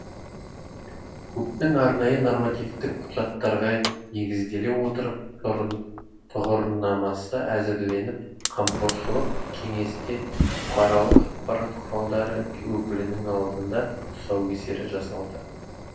клубтың арнайы нормативтік құжаттарға негізделе отырып тұғырнамасы әзірленіп қамқоршылық кеңесте бұқаралық ақпарат құралдары өкілінің алдында тұсаукесері жасалды